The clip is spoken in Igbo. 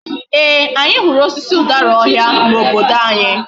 Ee, anyi huru osisi udara ohia na obodo anyi